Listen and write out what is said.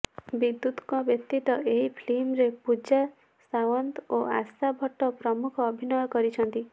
ବିଦ୍ୟୁତଙ୍କ ବ୍ୟତୀତ ଏହି ଫିଲ୍ମରେ ପୂଜା ସାଓ୍ବନ୍ତ ଓ ଆଶା ଭଟ୍ଟ ପ୍ରମୁଖ ଅଭିନୟ କରିଛନ୍ତି